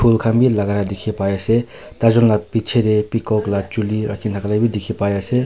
Phool khan bhi lagana dikhi pai ase taijun la picheteh peacock la chuli rakina thaka la bi dikhi pai ase.